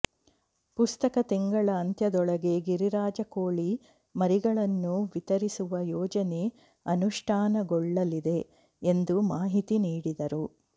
ಪ್ರಸಕ್ತ ತಿಂಗಳ ಅಂತ್ಯದೊಳಗೆ ಗಿರಿರಾಜ ಕೋಳಿ ಮರಿಗಳನ್ನು ವಿತರಿಸುವ ಯೋಜನೆ ಅನುಷ್ಠಾನಗೊಳ್ಳಲಿದೆ ಎಂದು ಮಾಹಿತಿ ನೀಡಿದರು